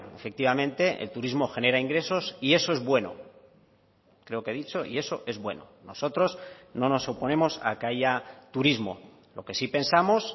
efectivamente el turismo genera ingresos y eso es bueno creo que he dicho y eso es bueno nosotros no nos oponemos a que haya turismo lo que sí pensamos